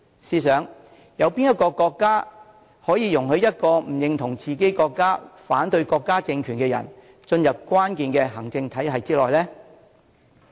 試想有哪個國家可以容許一個不認同自己國家、反對國家政權的人，進入關鍵的行政體系之內呢？